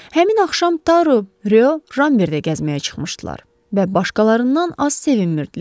Həmin axşam Taro, Reu, Ramber də gəzməyə çıxmışdılar və başqalarından az sevinmirdilər.